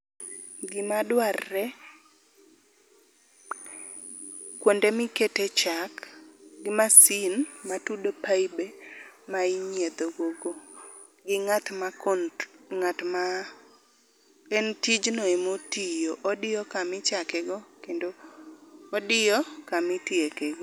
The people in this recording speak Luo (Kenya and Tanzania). Gima dwarre ,kuonde mikete chak gi masin matudo paibe ma inyietho go go, gi ngat ma control, en tijno ema tiyo. Odiyo kama ichake go kendo odiyo kama itieke go